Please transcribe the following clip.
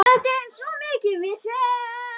Þetta var svo mikið vesen.